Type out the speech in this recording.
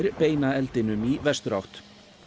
beina eldinum í vesturátt